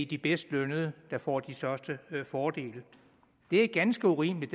de bedst lønnede der får de største fordele det er ganske urimeligt